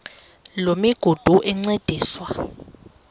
loo migudu encediswa